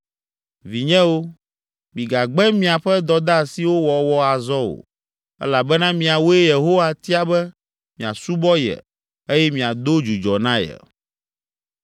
Vinyewo, migagbe miaƒe dɔdeasiwo wɔwɔ azɔ o elabena miawoe Yehowa tia be miasubɔ ye eye miado dzudzɔ na ye.”